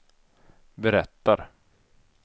berättar